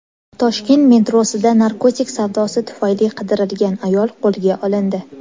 Toshkent metrosida narkotik savdosi tufayli qidirilgan ayol qo‘lga olindi.